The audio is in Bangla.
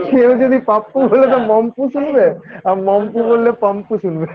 সেও যদি পাপ্পু হলে তো মাম্পু শুনবে আর মাম্পু বললে পাম্পু শুনবে